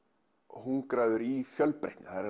hungraður í fjölbreytni það er